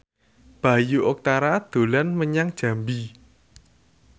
Bayu Octara dolan menyang Jambi